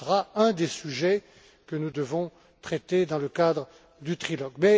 Ce sera un des sujets que nous devrons traiter dans le cadre du trilogue.